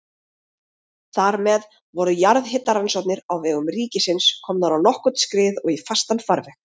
Þar með voru jarðhitarannsóknir á vegum ríkisins komnar á nokkurn skrið og í fastan farveg.